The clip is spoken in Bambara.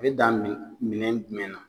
N bɛ taa min minɛn jumɛn na?